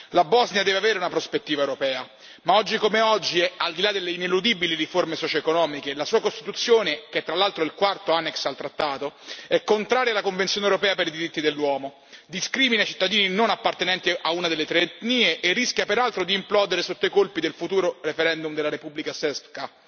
La Bosnia deve avere una prospettiva europea, ma oggi come oggi, al di là delle ineludibili riforme socioeconomiche, la sua costituzione, che tra l'altro è il quarto annex al trattato, è contraria alla Convenzione europea per i diritti dell'uomo, discrimina i cittadini non appartenenti a una delle tre etnie e rischia peraltro di implodere sotto i colpi del futuro referendum della Republika Srpska.